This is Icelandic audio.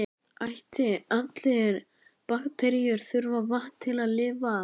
Æti: allar bakteríur þurfa vatn til að lifa.